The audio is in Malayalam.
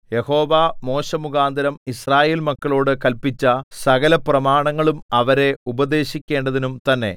യഹോവ മോശെമുഖാന്തരം യിസ്രായേൽ മക്കളോടു കല്പിച്ച സകലപ്രമാണങ്ങളും അവരെ ഉപദേശിക്കേണ്ടതിനും തന്നെ